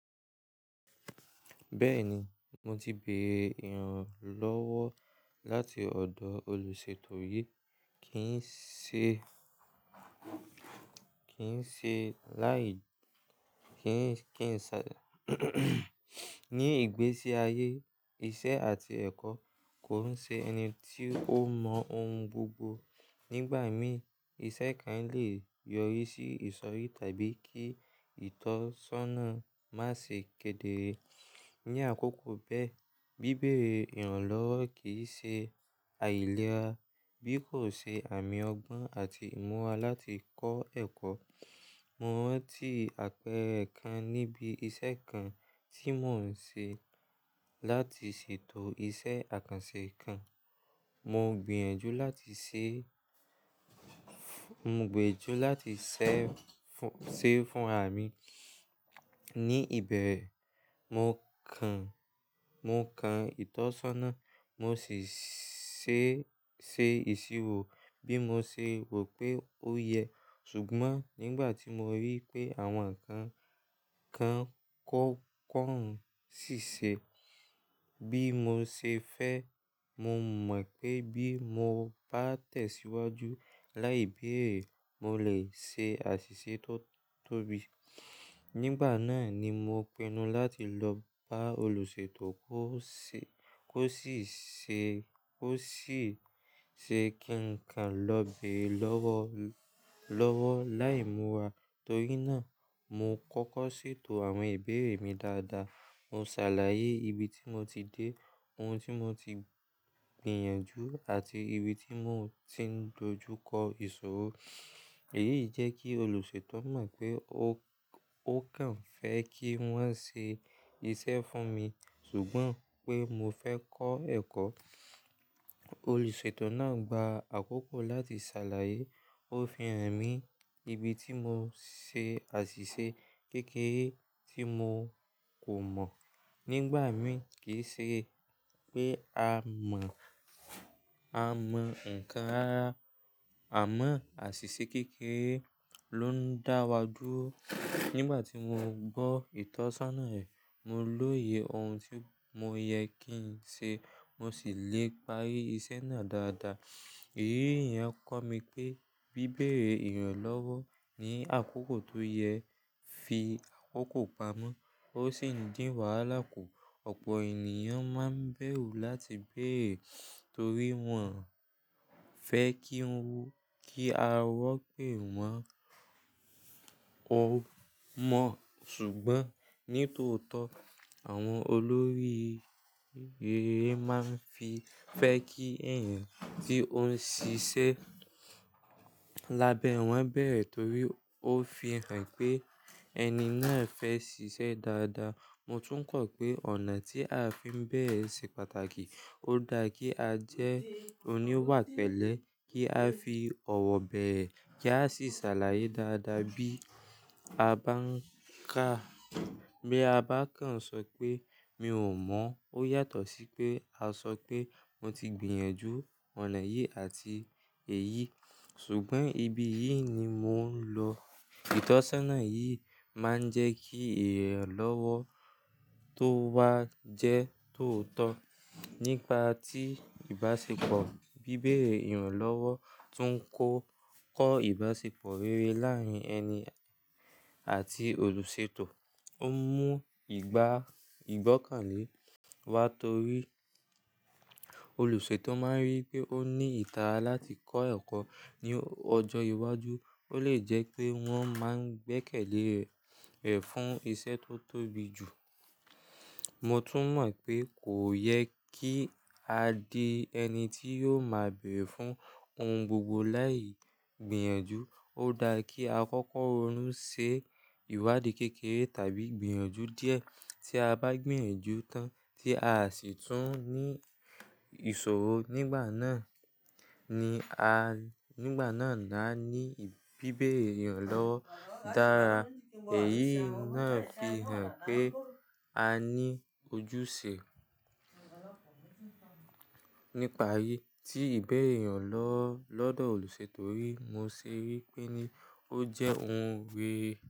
Bẹ́ẹ̀ni, mo ti beèrè ìrànlọ́wọ́ láti ọ̀dọ̀ olùṣètò rí. Kì n ṣe, kì n ṣe láì, kí ń, ní ìgbésí ayé iṣẹ́ àti ẹ̀kọ́ kò n ṣe ẹni tí o mọ ohun gbogbo. Nígbà mií, iṣẹ́ kan le yọrí sí ìsọ̀rí tàbí kí ìtọ́sọ́nà má ṣe kedere. Ni àkókò bẹ́ẹ̀, bíbeèrè ìrànlọ́wọ́ kì í ṣe àìlera bí kò ṣe àmì ọgbọ́n àti ìmúwà láti kọ́ ẹ̀kọ́. Mo rántí àpẹrẹ kan níbi iṣẹ́ kan tí mò ń ṣe láti ṣètò iṣẹ́ àkànṣe kan. Mo gbìyànjú láti ṣe, mo gbiyanju láti ṣẹ fún, ṣe fún ara mi. Ni ìbẹ̀rẹ̀, mo kan, mo kan ìtọ́sọ́nà, mo sì ṣé, ṣe ìṣirò bí mo ṣe rò pé ó yẹ. Ṣùgbọ́n nígbà tí mo rí i pé àwọn nnkankan kọ̀, kọ̀ ń ṣiṣẹ́ bí mo ṣe fẹ́, mo mọ̀ pé bí mo bá tẹ̀síwájú láìbéère, mo le ṣe àṣìṣe tó tóbi. Nígbà náà ni mo pinnu láti lọ bá olùṣètò kó ṣe, kó sì ṣe, kó sì ṣe kí n kan lọ́ bẹ̀ lọ́wọ́, lọ́wọ́ láì múra. Torí náà, mo kọ́kọ́ ṣètò àwọn ìbéèrè mi dáadáa. Mo ṣàlàyé ibi tí mo ti dé, ohun tí mo ti gbìyànjú àti ibi tí mo ti ń dojú kọ ìṣòro. Èyí jẹ́ kí olùṣètò mọ̀ pé ó, ó kàn fẹ́ kí wọ́n ṣe iṣẹ́ fún mi. Ṣùgbọ́n pé mo fẹ́ kọ́ ẹ̀kọ́. Olùṣètò náà gba àkókò láti ṣàlàyé, ó fi hàn mi ibi tí mo ṣe àṣìṣe kékeré tí mo kò mọ̀. Nígbà mi kì í ṣe pé a mọ̀, a mọ̀ ǹkan rara, amọ̀ àṣìṣe kékeré ló ń dáwa dúró. Nígbà tí mo gbọ́ ìtọ́sọ́nà ẹ, mo lóye ohun tí mo yẹ kí n ṣe, mo sì le parí iṣẹ́ náà dáadáa. Èyí yẹn kó mi pé bíbèrè ìrànlọ́wọ́ ní àkókò tó yẹ fi àkókò pamọ́, ó sì ń dín wàhálà kù. Ọ̀pọ̀ ènìyàn má ń bẹ̀rù láti bèerè torí wọ́n fẹ́ kí ń wú, kí a rọ́ pé wọ́n ó mọ̀. Ṣùgbọ́n ní tòótọ́, àwọn olórí reré má ń fi fẹ́ kí ẹ̀yàn tí ó ń ṣiṣẹ́ lábẹ́ wọ́n bẹ̀rẹ̀ torí ó fi hàn pé ẹni náà fẹ́ ṣiṣẹ́ dáadáa. Mo tún kọ̀ pé ọ̀nà tí a fi ń bẹ̀rẹ̀ sì pàtàkì. Ó dára kí a jẹ́ oníwà pẹ̀lẹ́ kí a fi ọ̀wọ̀ bẹ̀rẹ̀ kí a sì ṣàlàyé dáadáa bí a bá ń kà. Bí a bá kàn ṣọ pé mi ò mọ̀, ó yàtọ̀ sí pé a ṣọ pé mo ti gbìyànjú ọ̀nà yìí àti èyí. Ṣùgbọ́n ibi yìí ni mò ń lọ. Ìtọ́sọ́nà yìí má ń jẹ́ kí ìrànlọ́wọ́ tó wá jẹ́ tòótọ́. Nípa tí ìbáṣepọ̀ bíbeèrè ìrànlọ́wọ́ tún kó kọ́ ìbáṣepọ̀ rere láàárín ẹni àti olùṣètò. Ó mú ìgbá, ìgbọ́kànlé wá torí olùṣètò má ń rí pé ó ní ìtara láti kọ́ ẹ̀kọ́ ní ọjọ́ iwájú. Ó lè jẹ́ pé wọ́n má ń gbẹ́kẹ̀lé ẹ̀ fún iṣẹ́ tó tóbi jù. Mo tún mọ̀ pé kò yẹ kí a di ẹni tí yóò má beere fún ohun gbogbo láì gbìyànjú. Ó dára kí a kọ́kọ́ ronú ṣe ìwádìí kékeré tàbí gbìyànjú díẹ̀. Tí a bá gbìyànjú tán tí a sì tún ní ìṣòro nígbà náà ni a, nígbà náà ni a ní bíbeèrè ìrànlọ́wọ́ dára. Èyí náà fi hàn pé a ní ojúṣe. Nípa iyi tí ìbeerẹe ìrànlọ́wọ́ lọ́dọ̀ olùṣètò rí, mo ṣe wí pé ní ó jẹ́ ohun rere.